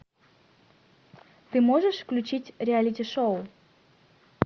ты можешь включить реалити шоу